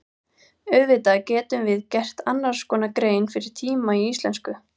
Auðvitað getum við gert annars konar grein fyrir tíma í íslensku.